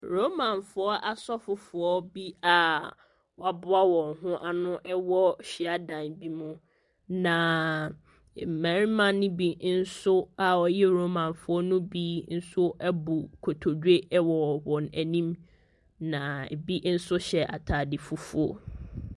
Romanfoɔ asɔfofoɔ bi a wɔaboa wɔn ho ano wɔ hyiadan bi mu, naaaa mmarima no bi nso a wɔyɛ Romanfoɔ no bi nso abu nkotodwe wɔ wɔn anim. Na bi nso hyɛ atadeɛ fufuo.